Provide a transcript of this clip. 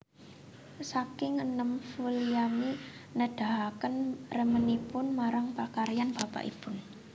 Saking enèm Vulliamy nedahaken remenipun marang pakaryan bapakipun